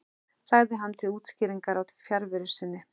sagði hann til útskýringar á fjarveru sinni.